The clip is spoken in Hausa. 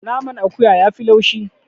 Naman akuya yafi laushi.